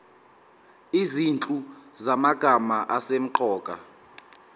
izinhlu zamagama asemqoka